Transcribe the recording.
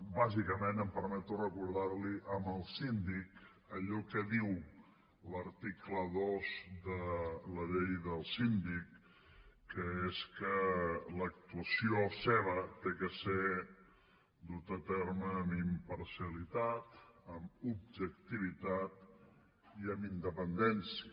bàsicament em permeto recordar li al síndic allò que diu l’article dos de la llei del síndic que és que l’actuació seva ha de ser duta a terme amb imparcialitat amb objectivitat i amb independència